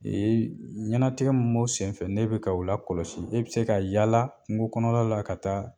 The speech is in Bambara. ɲanatigɛ m b'o sen fɛ n'e bɛ ka o lakɔlɔsi, e bɛ se ka yaala kungo kɔnɔla la ka taa